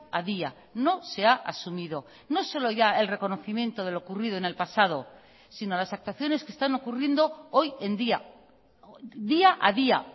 a día no se ha asumido no solo ya el reconocimiento de lo ocurrido en el pasado sino las actuaciones que están ocurriendo hoy en día día a día